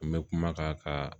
N bɛ kuma ka